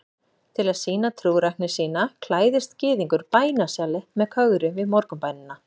Til að sýna trúrækni sína klæðist gyðingur bænasjali með kögri við morgunbænina.